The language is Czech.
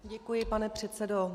Děkuji, pane předsedo.